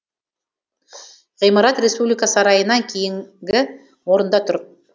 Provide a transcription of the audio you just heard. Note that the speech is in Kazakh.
ғимарат республика сарайынан кейінгі орында тұр